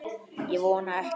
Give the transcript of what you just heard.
Ég vona ekki